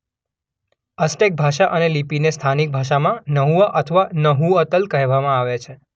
Aztec ભાષા અને લિપિને સ્થાનીક ભાષામાં નહુઆ અથવા નહુઅતલ કહેવામાં આવે છે.